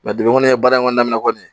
baara in kɔni daminɛ kɔni